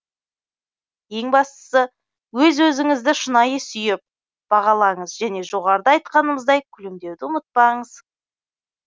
ең бастысы өз өзіңізді шынайы сүйіп бағалаңыз және жоғарыда айтқанымыздай күлімдеуді ұмытпаңыз